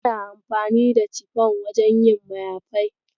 Ana amfani da cifon wajen yin mayafai.